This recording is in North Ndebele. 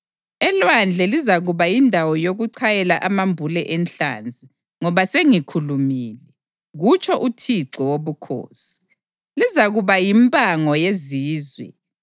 Elwandle lizakuba yindawo yokuchayela amambule enhlanzi, ngoba sengikhulumile, kutsho uThixo Wobukhosi. Lizakuba yimpango yezizwe,